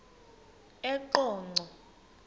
eqonco